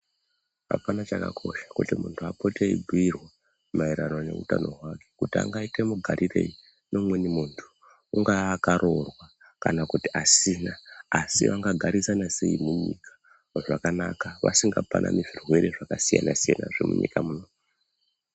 Apana chakakosha kuti muntu apote aibhuirwa maererano neutano hwake kuti angaite mugarirei neumweni muntu ,.ungaa akaroorwa kana kuti asina asi vangagarisana sei munyika zvakanaka vasingapanani zvirwere zvakasiyana siyana zvemunyika munomu